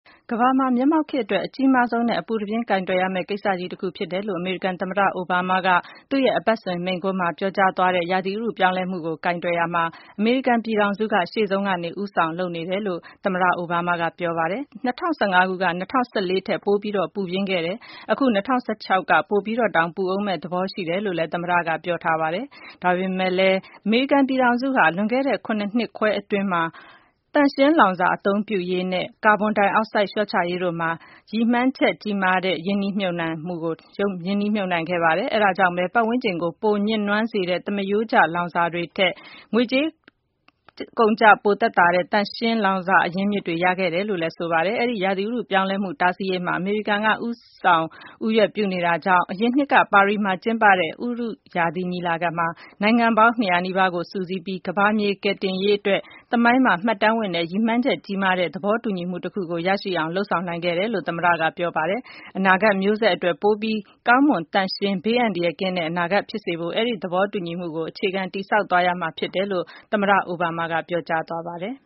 ကမ္ဘာမှာ မျက်မှောက်ခေတ်အတွက် အကြီးမားဆုံးနဲ့ အပူတပြင်းကိုင်တွယ်ရမယ့် ကိစ္စကြီးတခုဖြစ်တယ်လို့ အမေရိကန်သမ္မတ Barack Obama သူ့ရဲ့ အပတ်စဉ်မိန့်ခွန်းမှာ ပြောကြားသွားတဲ့ ဥတုရာသီ ပြောင်းလဲမှုကို ကိုင်တွယ်ရာမှာ အမေရိကန်ပြည်ထောင်စုက ရှေ့ဆုံးကနေ ဦးဆောင်လုပ်နေတယ်လို့ သမ္မတ Obama က ပြောပါတယ်။ ၂၀၁၅ က ၂၀၁၄ ထက် ပိုပြီး ပူပြင်းခဲ့တယ်.. အခု ၂၀၁၆ က ပိုပြီးတောင် ပူဦးမယ့် သဘောရှိတယ်လို့လည်း သမ္မတက ပြောထားပါတယ်။ ဒါပေမယ့်လည်း အမေရိကန်ပြည်ထောင်စုဟာ လွန်ခဲ့တဲ့ ၇ နှစ်ခွဲအတွင်းမှာပဲ သန့်ရှင်းလောင်စာ အသုံးပြုရေးနဲ့ ကာဗွန်ဒိုင်အောက်ဆိုဒ် လျှော့ချရေးတို့မှာ ရင်မှန်းချက်ကြီးမားတတဲ့ရင်းနှီးမြုပ်နှံခဲ့တယ်။ အဲဒါကြောင့်ပဲ ပတ်ဝန်းကျင်ကို ပိုညစ်နွမ်းစေတဲ့ သမားရိုးကျ လောင်စာတွေထက် ငွေကုန်ကြေးကျ ပို သက်သာတဲ့ သန့်ရှင်းလောင်စာအရင်းအမြစ်တွေ ရရှိခဲ့တယ်လို့ လည်း ဆိုပါတယ်။ဒီလို ဥတုရာသီပြောင်းလဲမှု တားဆီးရေးမှာ အမေရိကန်က ဦးဆောင် ဦးရွက်ပြုနေတာကြောင့် အရင်နှစ်က ပါရီမှာကျင်းပတဲ့ ဥတုရာသီညီလာခံမှာ နိုင်ငံပေါင်း ၂၀၀ နီးပါးကို စုစည်းပြီး ကမ္ဘာမြေ ကယ်တင်ရေးအတွက် သမိုင်းမှာ မှတ်တမ်းဝင်တဲ့ ရည်မှန်းချက်ကြီးမားတဲ့ သဘောတူညီမှုတခုကို ရရှိအောင်လုပ်ဆောင်နိုင်ခဲ့တယ်လို့ သမ္မတ က ပြောပါတယ်။ အနာဂတ်မျိုးဆက်အတွက် ပိုပြီးကောင်းမွန်သန့်ရှင်းဘေးအန္တရာယ်ကင်းတဲ့ အနာဂတ်ဖြစ်စေဖို့ အဲ့ဒီ့သဘောတူညီမှုကို အခြေခံ တည်ဆောက်သွားရမှာ ဖြစ်တယ်လို့ သမ္မတ အိုဘားမားက ပြောကြားသွားပါတယ်။